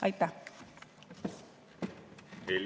Aitäh!